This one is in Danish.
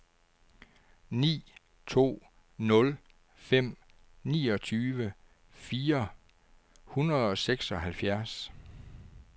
ni to nul fem niogtyve fire hundrede og seksoghalvfjerds